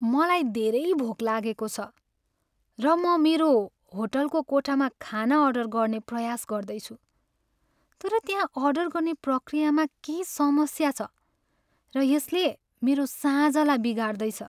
मलाई धेरै भोक लागेको छ, र म मेरो होटलको कोठामा खाना अर्डर गर्ने प्रयास गर्दैछु, तर त्यहाँ अर्डर गर्ने प्रक्रियामा केही समस्या छ, र यसले मेरो साँझलाई बिगार्दैछ।